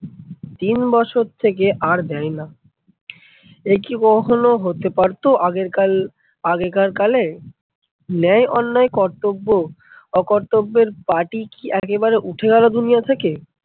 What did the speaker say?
তিন বছর থেকে আর দেয়না। একি বহলো হতে পারতো আগেরকাল আগেকার কালে? ন্যায়, অন্যায়, কর্তব্য, অকর্তব্যের পাঠই কি একেবারে উঠে গেল দুনিয়া থেকে?